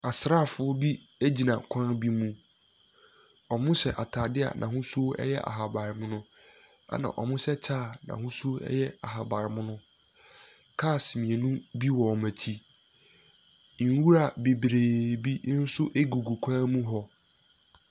Asrafoɔ bi gyina kwan bi mu. Wɔhyɛ ataadeɛ n'ahosuo yɛ ahabanmono. Ɛna wɔhyɛ kyɛ a n'ahosuo yɛ ahabanmono. Cars mmienu bi wɔ wɔn akyi. Nwura bebree bi nso gugu kwan mu hɔ.